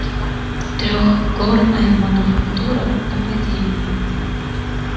трёхгорная мануфактура нападение